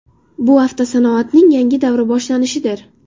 Bu avtosanoatning yangi davri boshlanishidir.